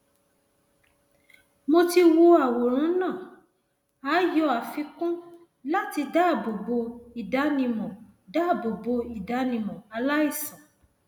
mo ti wo àwọn àwòrán náà a yọ àfikún láti dáàbò bo ìdánimọ dáàbò bo ìdánimọ aláìsàn